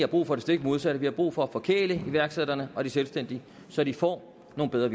brug for det stik modsatte vi har brug for at forkæle iværksætterne og de selvstændige så de får nogle bedre